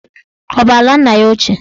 Ọ bụ ala nna ya ochie?